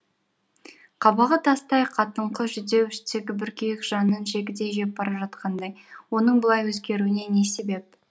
қабағы тастай қатыңқы жүдеу іштегі бір күйік жанын жегідей жеп бара жатқандай оның бұлай өзгеруіне не себеп